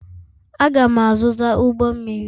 Aga'm -azụta ụgbọ mmiri